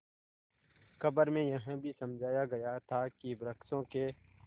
खबर में यह भी समझाया गया था कि वृक्षों के